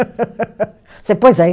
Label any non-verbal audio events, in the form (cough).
(laughs) Você pôs aí?